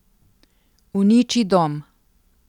Uniči dom.